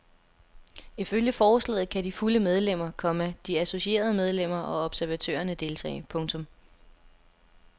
Ifølge forslaget kan de fulde medlemmer, komma de associerede medlemmer og observatørerne deltage. punktum